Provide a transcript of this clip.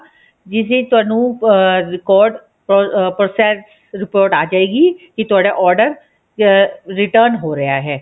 ਜਿਸ ਵਿੱਚ ਤੁਹਾਨੂੰ ਅਹ record or process report ਆ ਜਾਏਗੀ ਕੀ ਤੁਹਾਡਾ order return ਹੋ ਰਿਹਾ ਹੈ